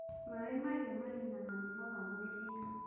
Maaĩ mahiũ maninaga mĩnoga mwĩrĩ-inĩ